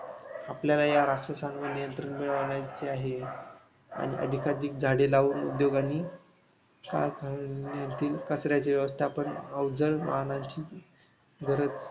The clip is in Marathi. आपल्याला या राक्षसांवर नियंत्रण मिळवण्याचे आहे. आणि अधिकाधिक झाडे लावून उद्योगांनी, कारखान्यांनी कचऱ्याचे व्यवस्थापन, अवजड वाहानांची